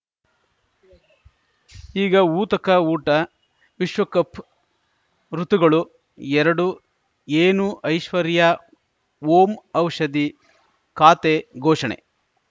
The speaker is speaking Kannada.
ಈಗ ಊತಕ ಊಟ ವಿಶ್ವಕಪ್‌ ಋತುಗಳು ಎರಡು ಏನು ಐಶ್ವರ್ಯಾ ಓಂ ಔಷಧಿ ಖಾತೆ ಘೋಷಣೆ